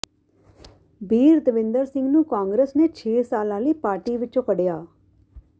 ਬੀਰਦਵਿੰਦਰ ਸਿੰਘ ਨੂੰ ਕਾਂਗਰਸ ਨੇ ਛੇ ਸਾਲਾਂ ਲਈ ਪਾਰਟੀ ਵਿੱਚੋਂ ਕੱਢਿਆ